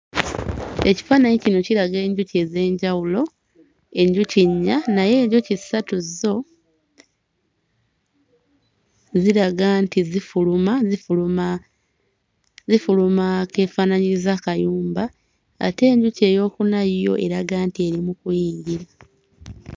Ekifaananyi kino kiraga enjuki ez'enjawulo enjuki nnya naye enjuki ssatu zo ziraga nti zifuluma zifuluma zifuluma akeefaanaanyiriza akayumba ate enjuki eyookuna yo eraga nti eri mu kuyingira.